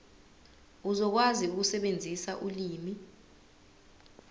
uzokwazi ukusebenzisa ulimi